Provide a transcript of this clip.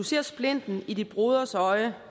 ser du splinten i din broders øje